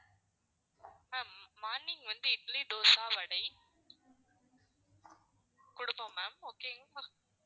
ma'am morning வந்து இட்லி, தோசை, வடை குடுப்போம் ma'am okay ங்களா?